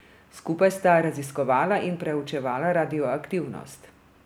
Skupaj sta raziskovala in preučevala radioaktivnost.